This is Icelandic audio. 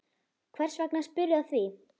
Hvers vegna spyrðu að því?